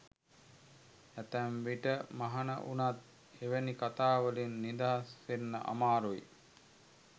ඇතැම් විට මහණ වුණත් එවැනි කතා වලින් නිදහස් වෙන්න අමාරුයි.